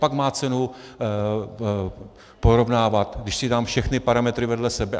Pak má cenu porovnávat, když si dám všechny parametry vedle sebe.